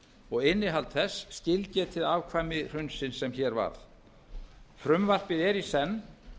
og innihald þess skilgetið afkvæmi hrunsins sem hér varð frumvarpið er í senn